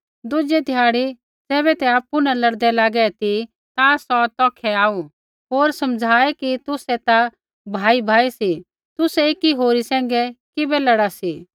दुज़ै ध्याड़ी ज़ैबै ते आपु न लड़दै लागै ती ता सौ तौखै आऊ होर समझ़ाऐ कि तुसै ता भाईभाई सी तुसै एकी होरी सैंघै किबै लड़ा सी